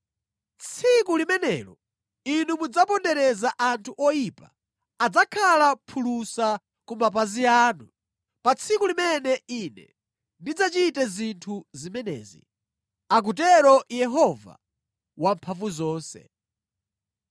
Tsiku limenelo inu mudzapondereza anthu oyipa; adzakhala phulusa ku mapazi anu pa tsiku limene Ine ndidzachite zinthu zimenezi,” akutero Yehova Wamphamvuzonse.